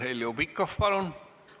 Heljo Pikhof, palun!